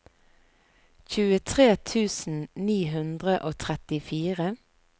tjuetre tusen ni hundre og trettifire